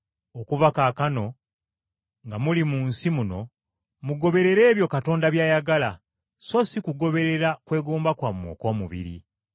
Okuva kaakano nga muli mu nsi muno, mugoberere ebyo Katonda by’ayagala, so si kugoberera kwegomba kwammwe okw’omubiri.